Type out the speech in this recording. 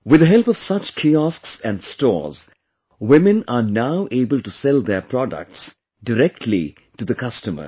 With the help of such kiosks and stores, women are now able to sell their products directly to the customers